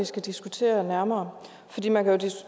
skal diskutere nærmere